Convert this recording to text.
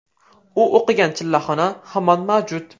U o‘qigan chillaxona hamon mavjud.